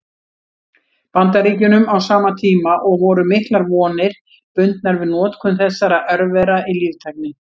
Bandaríkjunum á sama tíma, og voru miklar vonir bundnar við notkun þessara örvera í líftækni.